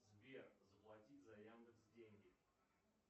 сбер заплатить за яндекс деньги